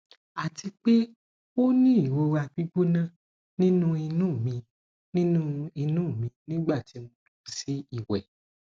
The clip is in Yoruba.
ati pe o ni irora gbigbona ninu inu mi ninu inu mi nigbati mo lọ si iwẹ